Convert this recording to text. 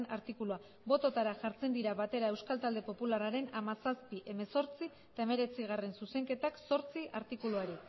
artikulua bototara jartzen dira batera euskal talde popularraren hamazazpi hemezortzi eta hemeretzigarrena zuzenketak zortzi artikuluari